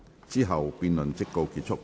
之後辯論即告結束。